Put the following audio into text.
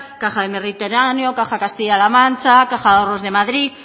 caja del mediterráneo caja castilla la mancha caja de ahorros de madrid